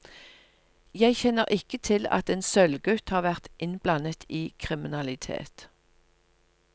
Jeg kjenner ikke til at en sølvgutt har vært innblandet i kriminalitet.